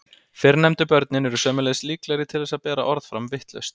fyrrnefndu börnin eru sömuleiðis líklegri til þess að bera orð fram vitlaust